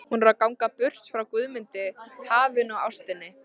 Hún er að ganga burt frá Guðmundi, hafinu og ástinni.